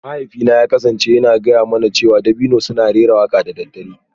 Mahaifina ya kasance yana gaya mana cewa dabino suna raira waƙa da dare